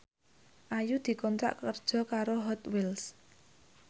Ayu dikontrak kerja karo Hot Wheels